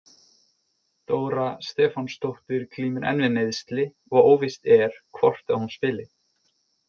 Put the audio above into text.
Dóra Stefánsdóttir glímir enn við meiðsli og óvíst er hvort að hún spili.